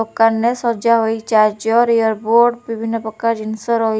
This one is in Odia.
ଦୋକାନ ରେ ସଜା ହୋଇଛି। ଚାର୍ଜ ୟାରବୋର୍ଡ ବିଭିନ୍ନ ପ୍ରକାରର ଜିନିଷ ରହି --